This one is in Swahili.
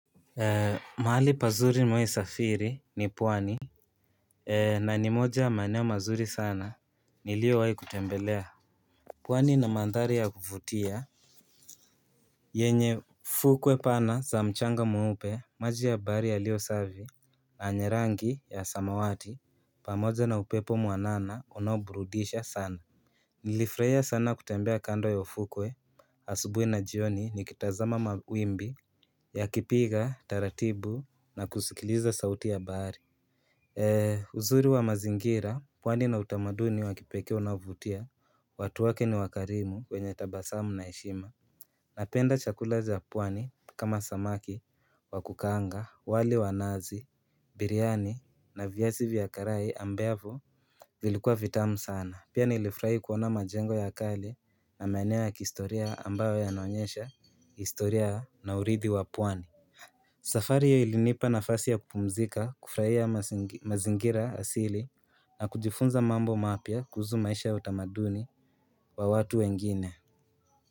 Mahali pazuri nimewahi safiri ni pwani na ni moja ya maeneo mazuri sana niliowahi kutembelea pwani na mandhari ya kuvutia yenye fukwe pana za mchanga mweupe maji ya bahari yalio safi na yenye rangi ya samawati pamoja na upepo mwanana unao burudisha sana Nilifurahia sana kutembea kando ya ufukwe, asubuhi na jioni nikitazama mawimbi yakipiga, taratibu na kusikiliza sauti ya bahari Eeh uzuri wa mazingira, pwani na utamaduni wa kipekee unaovutia, watu wake ni wakarimu wenye tabasamu na heshima Napenda chakula za pwani kama samaki, wakukaanga, wali wa nazi, biriani na viazi vya karai ambavyo vilikua vitamu sana Pia nilifurahi kuona majengo ya kale na maeneo ya kihistoria ambayo yanaonyesha historia na uridhi wa pwani safari hiyo ilinipa nafasi ya kupumzika kufurahia mazingira asili na kujifunza mambo mapya kuhusu maisha ya utamaduni wa watu wengine.